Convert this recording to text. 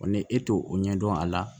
ni e t'o ɲɛdɔn a la